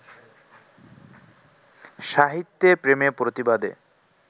সাহিত্যে প্রেমে-প্রতিবাদে